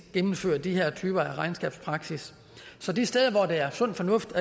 gennemføre de her typer af regnskabspraksis så de steder der er sund fornuft